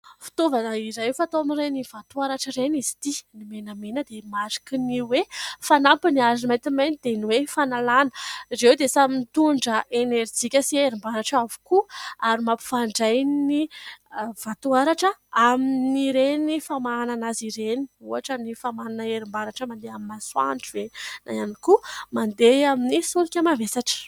Fitaovana iray, efa tao amin'ireny vatoaratra ireny izy ity, ny menamena dia mariky ny hoe : fanampiny ary ny maintimainty dia ny hoe : fanalana ; ireo dia samy mitondra enerjika sy herim-baratra avokoa ary mampifandray ny vatoaratra amin'ireny famahanana azy ireny, ohatra : ny famahanana herim-baratra mandeha amin'ny masoandro ve ?na ihany koa mandeha amin'ny solika mavesatra.